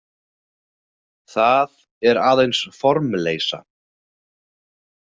Það er aðeins formleysa.